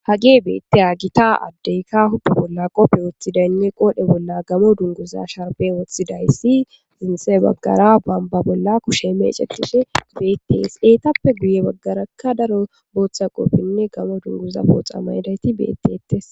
hage beetiya gita addeyka huppe bolla qoppe woththidaynne qoodhe bolla gamo dunguza sharbe woththidayssi zinse baggara bamba bolla kushe meeceqide beettees eetappe guye baggarakka daro booththa qoppenne gamo dunguza pooxa maydayti beettetes